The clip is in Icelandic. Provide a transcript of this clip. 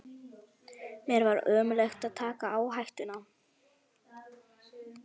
Mér var ómögulegt að taka áhættuna.